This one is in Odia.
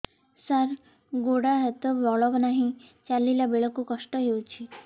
ସାର ଗୋଡୋ ହାତରେ ବଳ ନାହିଁ ଚାଲିଲା ବେଳକୁ କଷ୍ଟ ହେଉଛି